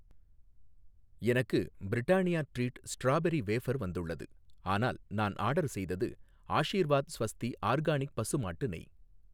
எனக்கு Britannia treat strawberry wafer வந்துள்ளது, ஆனால் நான் ஆர்டர் செய்தது ஆஷிர்வாத் ஸ்வஸ்தி ஆர்கானிக் பசுமாட்டு நெய்